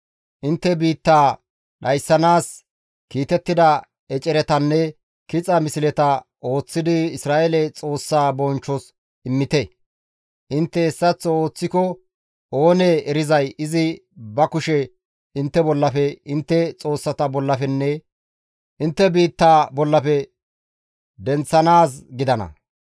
Intte biittaa dhayssanaas kiitettida eceretanne kixa misleta ooththidi Isra7eele Xoossaa bonchchos immite; intte hessaththo ooththiko oonee erizay izi ba kushe intte bollafe, intte xoossata bollafenne intte biittaa bollafe denththanaaz gidana.